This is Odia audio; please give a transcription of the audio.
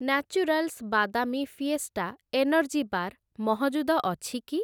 ନ୍ୟାଚୁରାଲ୍ସ ବାଦାମି ଫିଏଷ୍ଟା ଏନର୍ଜି ବାର୍‌ ମହଜୁଦ ଅଛି କି?